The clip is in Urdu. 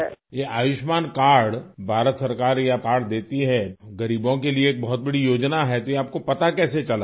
یہ آیوشمان کارڈ حکومت ہند یہ کارڈ دہتی ہے ،غریبوں کے لیے بہت بڑی اسکیم ہے، تو یہ آپ کو پتہ کیسے چلا ؟